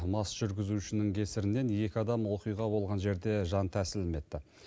мас жүргізушінің кесірінен екі адам оқиға болған жерде жан тәсілім етті